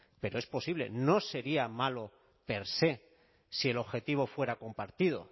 pero es posible no sería malo per se si el objetivo fuera compartido